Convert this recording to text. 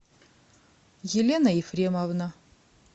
елена ефремовна